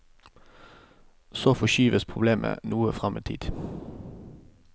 Så forskyves problemet noe frem i tid.